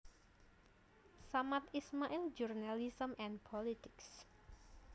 Samad Ismail journalism and politics